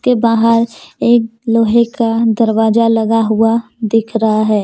के बाहर एक लोहे का दरवाजा लगा हुआ दिख रहा है।